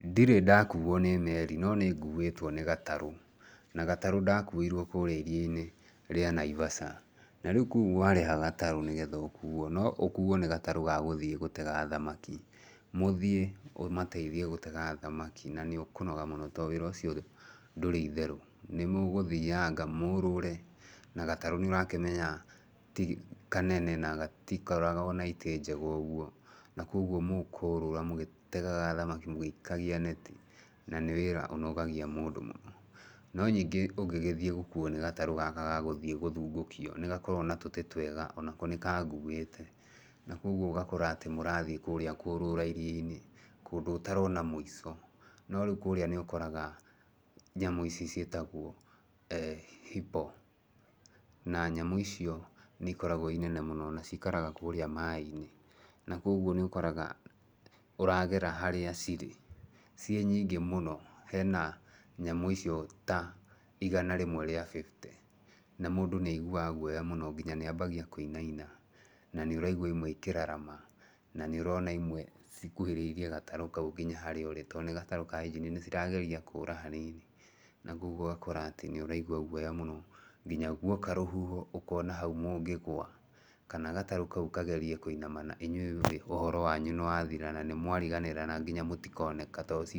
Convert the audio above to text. Ndirĩ ndakuo nĩ meeri, no nĩ nguĩtwo nĩ gatarũ. Na gatarũ ndakuirwo kũũrĩa iria-inĩ rĩa Naivasha. Na rĩu kũu warĩha gatarũ nĩgetha ũkuo, no ũkuuo nĩ gatarũ ga gũthiĩ gũtega thamaki. Mũthiĩ ũmateithie gũtega thamaki, na nĩ ũkonoga mũno, to wĩra ũcio ndũrĩ itherũ. Nĩ mũgũthianga, mũũrũre, na gatarũ nĩ ũrakĩmenya ti kanene, na gatikoragwo na itĩ njega ũguo. Na koguo mũkũrũra mũgĩtegaga thamaki, mũgĩikagia neti. Na nĩ wĩra ũnogagia mũndũ mũno. No ningĩ ũngĩgĩthiĩ gũkuuo nĩ gatarũ gaka ga gũthiĩ gũthungũkio, nĩ gakoragwo na tũtĩ twega, onako nĩ kanguĩte. Na koguo ũgakora atĩ mũrathiĩ kũũrĩa kũrũra iria-inĩ, kũndũ ũtarona mũico. Na rĩu kũũrĩa nĩ ũkoraga, nyamũ ici ciĩtagwo eeh hippo. Na nyamũ icio nĩ ikoragwo ii nene mũno, na ciikaraga kũũrĩa maĩ-inĩ. Na koguo nĩ ũkoraga ũragera harĩa cirĩ, ciĩ nyingĩ mũno. Hena nyamũ icio ta igana rĩmwe rĩa fifty. Na mũndũ nĩ aiguaga guoya mũno, nginya nĩ ambagia kũinana. Na nĩ ũraigua imwe ikĩrarama, na nĩ ũrona imwe cikuhĩrĩirie gatarũ kau nginya harĩa ũrĩ. To nĩ gatarũ ka injini, nĩ cirageria kũũra hanini. Na koguo ũgakora atĩ nĩ ũraigua guoya mũno. Nginya guoka rũhuho, ũkona hau mũngĩgũa, kana gatarũ kau kagerie kũinamana inyuĩ mũrĩ ũhoro wanyu nĩ wathira, na nĩ mwariganĩra na nginya mũtikoneka to...